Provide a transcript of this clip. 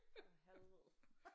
For helvede